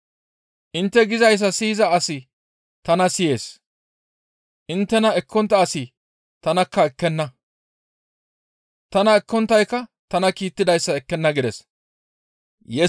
«Intte gizayssa siyiza asi tana siyees; inttena ekkontta asi tanakka ekkenna; tana ekkonttaykka tana kiittidayssa ekkenna» gides.